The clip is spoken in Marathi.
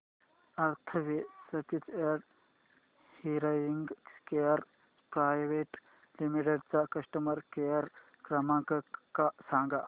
Atharva speech and hearing care private limited चा कस्टमर केअर क्रमांक सांगा